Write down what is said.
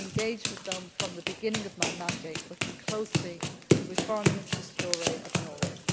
issue. I have been engaged with them from the beginning of my mandate, working closely with Foreign Minister Støre of